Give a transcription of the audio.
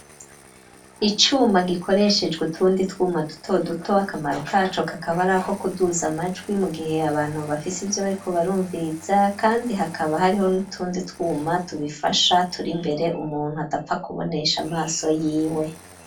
Icuma gikoreshejwe utundi twuma duto duto akamaro kaco kakaba arihako kuduza amajwi mu gihe abantu bafise ivyo bariko barumviriza kandi hakaba hariho n'utundi twuma tubifasha turi mbere umuntu adapfa kubonesha amaso y'iwe.